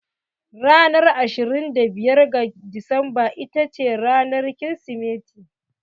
Ranar ashirin da biyar ga Disamba ita ce ranar Kirsimeti.